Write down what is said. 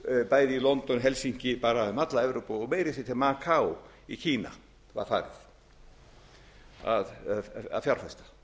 bæði í london helsinki bara um alla evrópu og meira að segja til makaó í kína var farið að fjárfesta